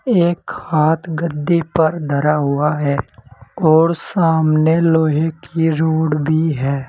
एक हाथ गद्दे पर धरा हुआ है और सामने लोहे की रॉड भी है।